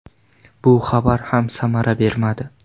Bu xabar ham samara bermadi.